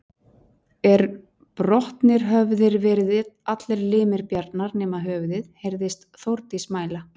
Er brotnir höfðu verið allir limir Bjarnar nema höfuðið, heyrðist Þórdís mæla